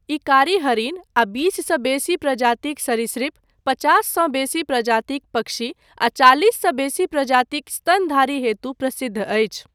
ई कारी हरिण आ बीससँ बेसी प्रजातिक सरीसृप, पचाससँ बेसी प्रजातिक पक्षी आ चालीससँ बेसी प्रजातिक स्तनधारी हेतु प्रसिद्ध अछि।